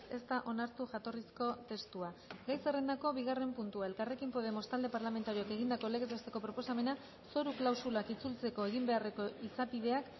ez da onartu jatorrizko testua gai zerrendako bigarren puntua elkarrekin podemos talde parlamentarioak egindako legez besteko proposamena zoru klausulak itzultzeko egin beharreko izapideak